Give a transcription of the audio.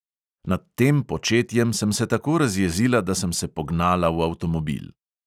Nad tem početjem sem se tako razjezila, da sem se pognala v avtomobil.